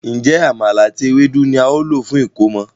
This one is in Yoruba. Njé Àmàlà àti Ewédú ní ào ló fún ẹkọmọ?